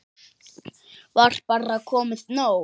Var bara komið nóg?